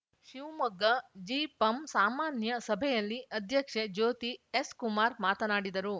ಶಿವಮೊಗ್ಗ ಜಿಪಂ ಸಾಮಾನ್ಯ ಸಭೆಯಲ್ಲಿ ಅಧ್ಯಕ್ಷೆ ಜ್ಯೋತಿ ಎಸ್‌ ಕುಮಾರ್‌ ಮಾತನಾಡಿದರು